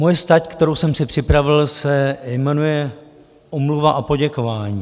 Moje stať, kterou jsem si připravil, se jmenuje omluva a poděkování.